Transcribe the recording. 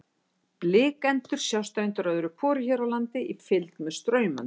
Blikendur sjást reyndar öðru hvoru hér á landi í fylgd með straumöndum.